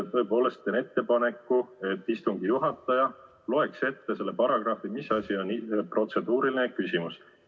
Tõepoolest teen ettepaneku, et istungi juhataja loeks ette selle paragrahvi, kus on kirjas, mis asi on protseduuriline küsimus.